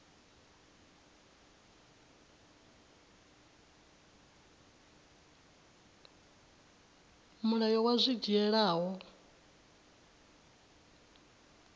mulayo wa zwi dzhiela nha